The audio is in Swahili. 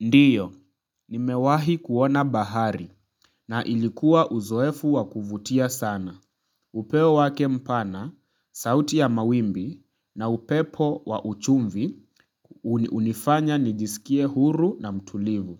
Ndiyo, nimewahi kuona bahari. Na ilikuwa uzoefu wa kuvutia sana. Upeo wake mpana, sauti ya mawimbi na upepo wa uchumvi hunifanya nijisikie huru na mtulivu.